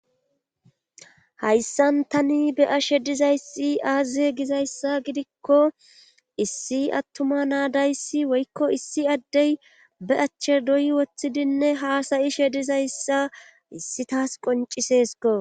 Hayssan tani be a shedizayssi aazie gizayssa gidikko issi attuma naadayssi woykko issi addey be achche doyi woththidinne haasayi shedizayssa issi taas qoncisesko